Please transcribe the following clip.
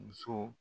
Muso